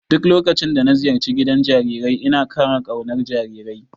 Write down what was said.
Duk lokacin da na ziyarci gidan jarirai ina ƙara ƙaunar jarirai.